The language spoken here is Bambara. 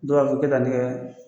Dɔ b'a fɔ kɛ ta